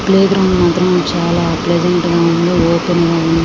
Play ground మాత్రం చాలా pleasant గా ఉంది ఓపెన్ గా ఉంది.